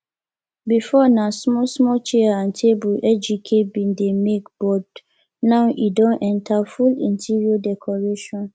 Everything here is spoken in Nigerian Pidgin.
before na small small chair and table ejike bin dey make but but now e don enter full interior decoration